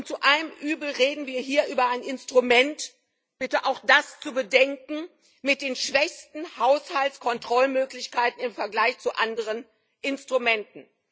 Und zu allem Übel reden wir hier über ein Instrument ich bitte auch das zu bedenken mit den schwächsten Haushaltskontrollmöglichkeiten im Vergleich zu anderen Instrumenten.